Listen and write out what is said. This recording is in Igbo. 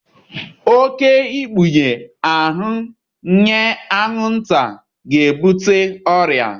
Oké ikpughe ahụ nyé anwụnta ga-ebute ọrịa